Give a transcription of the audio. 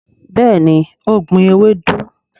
béèni o gbìn ewedu.